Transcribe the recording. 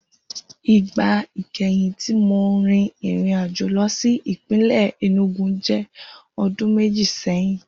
Igba ikẹhin ti Mo rin irin-ajo lọ si ipinlẹ Enugu jẹ ọdun meji sẹhin.